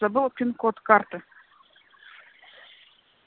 забыла пин код карты